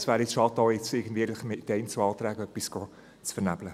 Es wäre schade, mit Einzelanträgen etwas zu vernebeln.